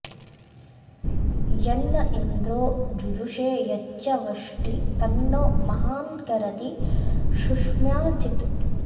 यन्न॒ इन्द्रो॑ जुजु॒षे यच्च॒ वष्टि॒ तन्नो॑ म॒हान्क॑रति शु॒ष्म्या चि॑त्